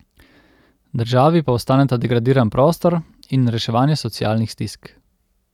Državi pa ostaneta degradiran prostor in reševanje socialnih stisk.